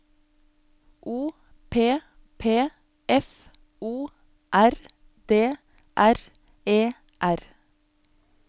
O P P F O R D R E R